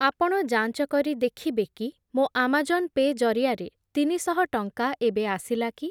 ଆପଣ ଯାଞ୍ଚ କରି ଦେଖିବେକି ମୋ ଆମାଜନ୍ ପେ' ଜରିଆରେ ତିନିଶହ ଟଙ୍କା ଏବେ ଆସିଲାକି?